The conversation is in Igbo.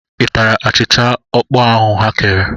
I tara achịcha ọkpọọ ahụ ha kere?